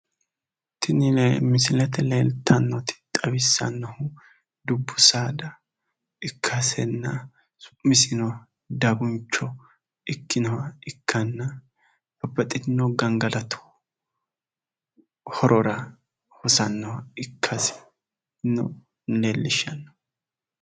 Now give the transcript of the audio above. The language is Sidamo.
Tini misilete leeltannoti xawissannohu dubbu saada ikkasenna su'misino daguncho ikkinohura ikkanna babbaxxitino gangalatu horora hosannoha ikkasino leellishanno